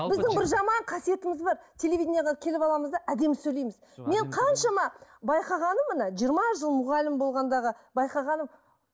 біздің бір жаман қасиетіміз бар телевидениеге келіп аламыз да әдемі сөйлейміз мен қаншама байқағаным міне жиырма жыл мұғалім болғандағы байқағаным